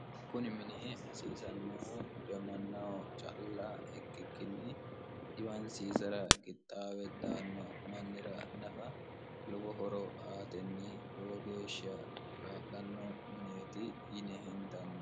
kuni mini hasiisannohu diamannaho calla ikkikkinni dhiwansiisara kixxaawe daanno mannira nafa lobo horo aatenni lowo geeshsha lanno minieti yine hendanno